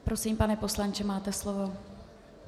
Prosím, pane poslanče, máte slovo.